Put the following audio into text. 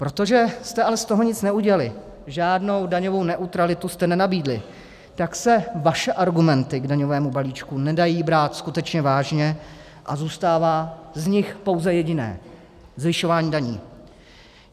Protože jste ale z toho nic neudělali, žádnou daňovou neutralitu jste nenabídli, tak se vaše argumenty k daňovému balíčku nedají brát skutečně vážně a zůstává z nich pouze jediné - zvyšování daní.